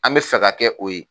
An bɛ fɛ ka kɛ o ye.